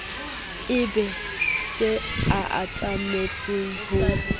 e be se atametseng ho